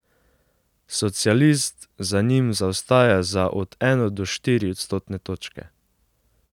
Socialist za njim zaostaja za od eno do štiri odstotne točke.